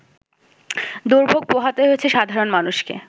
দুর্ভোগ পোহাতে হয়েছে সাধারণ মানুষকে